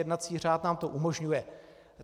Jednací řád nám to umožňuje.